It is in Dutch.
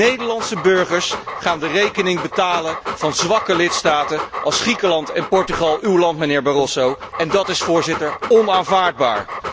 Nederlandse burgers gaan de rekening betalen van zwakke lidstaten als Griekenland en Portugal uw land, mijnheer Barroso en dat is, Voorzitter, onaanvaardbaar.